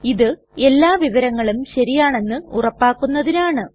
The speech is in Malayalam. ഇത് എല്ലാ വിവരങ്ങളും ശരിയാണെന്ന് ഉറപ്പാക്കുന്നതിനാണ്